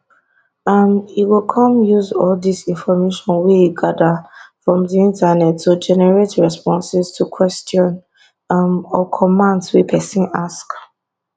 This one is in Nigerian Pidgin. um e go come use all of dis information wey e gada from di internet to generate responses to questions um or commands wey pesin ask